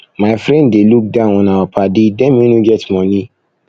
my friend dey look down on our paddy dem wey no get moni